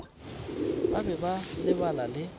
ba be ba lebala le